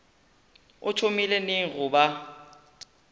o thomile neng go ba